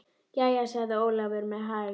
Jæja, sagði Ólafur með hægð.